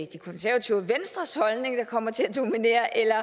de konservative og venstres holdning der kommer til at dominere eller